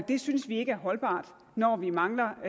det synes vi ikke er holdbart når vi mangler